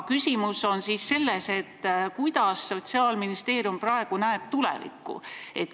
Küsimus on selles, millisena näeb Sotsiaalministeerium tulevikku.